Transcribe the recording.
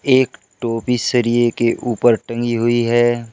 एक टोपी सरिये के ऊपर टंगी हुई है।